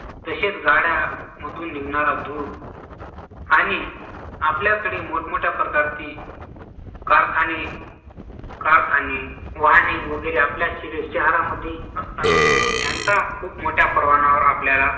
तसेच गाड्यांमधून निघणारा धूर आणि आपल्याकडे मोठमोठ्याप्रकारचे कारखाने कारखाने वाहने वगैरे आपल्या शहरामध्ये यांचा खूप मोठ्या प्रमाणावर आपल्याला